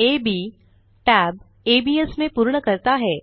AB tab ABS में पूर्ण करता है